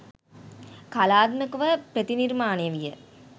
කලාත්මකව ප්‍රතිනිර්මාණය විය.